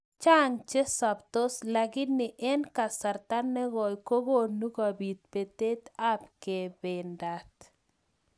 Chang chesaptos lakini eng kasarta nekoi kokonu kobit betet ab kebendat.